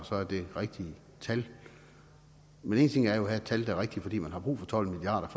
så er det rigtige tal men en ting er jo at have et tal der er rigtigt fordi man har brug for tolv milliard